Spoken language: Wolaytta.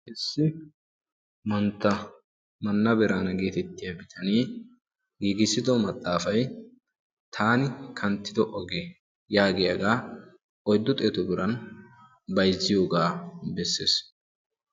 issi manttaa biraana geetettiya bitanee giigissido maxaafay 'taani kanttido oggee' yaagiyaagaa oyddu xeeto biran bayzziyoogaa bessees